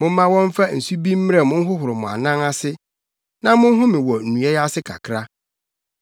Momma wɔmfa nsu bi mmrɛ mo nhohoro mo anan ase, na monhome wɔ nnua yi ase kakra.